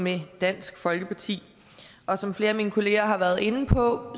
med dansk folkeparti og som flere af mine kollegaer har været inde på